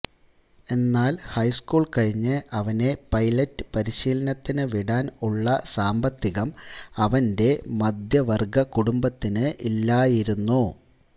എന്നാൽ ഹൈസ്കൂൾ കഴിഞ്ഞ് അവനെ പൈലറ്റ് പരിശീലനത്തിന് വിടാൻ ഉള്ള സാമ്പത്തികം അവന്റെ മദ്ധ്യവർഗ കുടുംബത്തിനു ഇല്ലായിരുന്നു